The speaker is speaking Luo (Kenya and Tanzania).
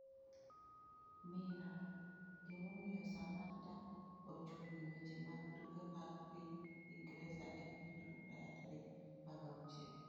(Mirror) Gimomiyo Samatta ochung' e weche mag tuke mag piny Ingresa e piny Ulaya tarik 16.